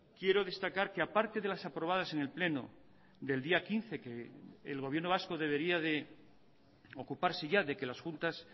quiero destacar que aparte de las aprobadas en el pleno del día quince que el gobierno vasco debería de ocuparse ya de que las juntas